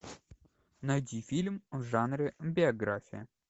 найти фильм в жанре биография